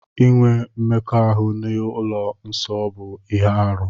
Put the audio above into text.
Inwe mmekọahụ n'ihu ụlọ nsọ bụ ihe arụ.